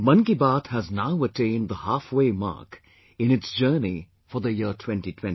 Mann Ki Baat has now attained the halfway mark in its journey for the year 2020